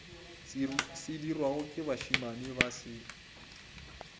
sedirwago ke bašemane ba se